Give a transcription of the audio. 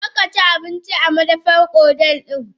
Karkaci abinci a madafan hotel din!